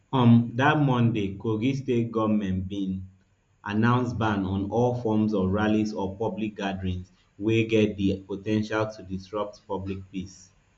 um dat same monday kogi state goment bin announce ban on all forms of rallies or public gatherings wey get di po ten tial to disrupt public peace